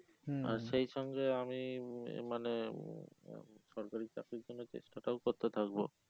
আর সেই সঙ্গে আমি মানে উম উহ সরকারি চাকরির জন্য চেষ্টা টাও করতে থাকবো